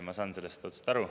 Ma saan sellest aru.